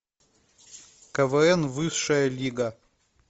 квн высшая лига